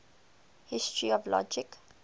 history of logic